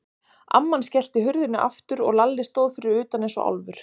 Amman skellti hurðinni aftur og Lalli stóð fyrir utan eins og álfur.